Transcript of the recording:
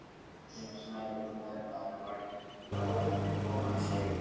Ég var farin að halda að þú ætlaðir ekki að koma sagði hún brosandi.